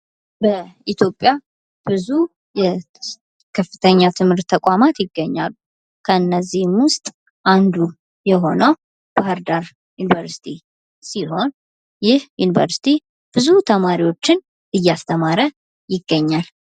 በኢትዮጵያ ውስጥ ብዙ ከፍተኛ የትምህርት ተቋማት ይገኛሉ ከእነዚህም ውስጥ አንዱ የሆነው የባህር ዳር ዩኒቨርስቲ ሲሆን ፤ ይህ ዩኒቨርሲቲ ብዙ ተማሪዎችን እየስተማረ ይገኛል።